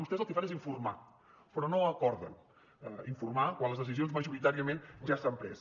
vostès el que fan és informar però no acorden informar quan les decisions majoritàriament ja s’han pres